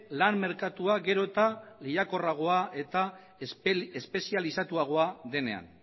lan merkatua gero eta lehiakorragoa eta espezializatuagoa denean